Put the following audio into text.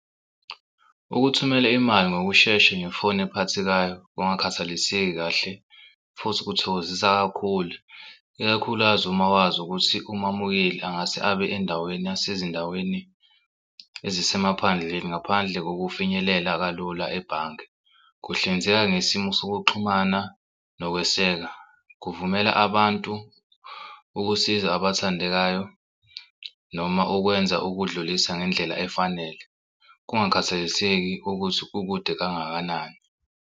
Ukuthumela imali ngokushesha ngefoni ephathekayo kungakhathaliseki kahle futhi ukuthokozisa kakhulu ikakhulukazi uma wazi ukuthi umamukele angase abe endaweni yasezindaweni ezisemaphandleni ngaphandle kokufinyelela kalula ebhange. Kuhlinzeka ngesimo sokuxhumana nokweseka kuvumela abantu ukusiza abathandekayo, noma ukwenza ukudlulisa ngendlela efanele. Kungakhathaliseki ukuthi ukude kangakanani.